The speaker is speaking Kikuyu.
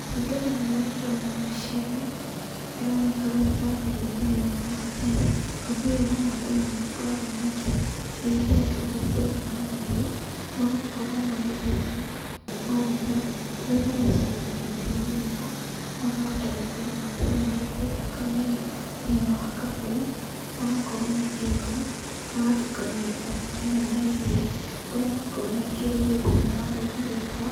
Kũringana na ũrĩa ndĩrona mbica ĩno, ĩroneka rũrũ tarĩ rũrĩrĩ rwa maathai. Rũrĩrĩ rwa maathai nĩmakoragwo makĩrĩithia ũrĩithia ũyũ wa mahiũ, magakorwo magĩtheca ng'ombe, kũrĩa mathecaga na itimũ rĩrĩ, makahota gũkorwo makĩanĩrĩria thakame ĩno thĩinĩ wa kabũyũ, magakorwo makĩnyua, magatukania thakame ĩyo na iria, ũrĩa makoragwo mekĩrĩire thĩinĩ wa rũrĩrĩ rwao